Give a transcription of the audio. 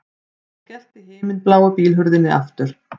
Hann skellti himinbláu bílhurðinni aftur